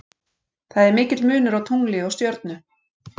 Það er mikill munur á tungli og stjörnu.